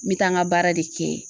N be taa n ka baara de kɛ.